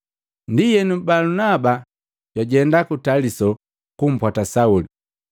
Ndienu, Balunaba jwajenda ku Taliso kumpwata Sauli.